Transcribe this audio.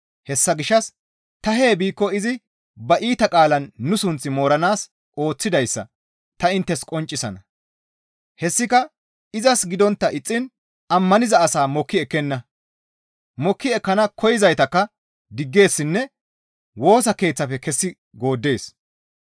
Hessa gishshas ta hee biikko izi ba iita qaalaan nu sunth mooranaas ooththidayssa ta inttes qonccisana; hessika izas gidontta ixxiin ammaniza asaa mokki ekkenna; mokki ekkana koyzaytakka diggeessinne Woosa Keeththafe kessi gooddees.